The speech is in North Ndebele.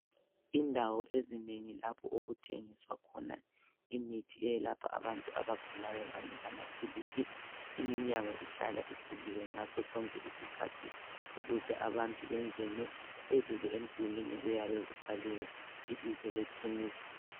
Indawo ezinengi lapho okuthengiswa khona imithi eyelapha abantu abagulayo kanye lamaphilisi. Iminyango ihlala ivuliwe ngaso sonke isikhathi ukuze abantu bengene. Phezulu emdulwini kuyabe kubhaliwe ibizo lekhemisi.